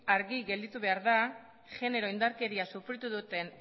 argi gelditu behar da genero indarkeria sufritu duten